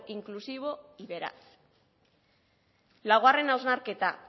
inclusivo y veraz laugarren hausnarketa